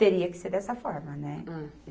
Teria que ser dessa forma, né? Hum